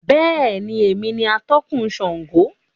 Bẹ́ẹ̀ni, èmi ni atọ̀kun Sángo